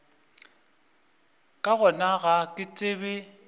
ka gona ga ke tsebe